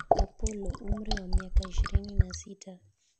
Opollo, umri wa miaka ishirini na sita ,